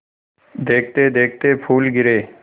देखते देखते फूल गिरे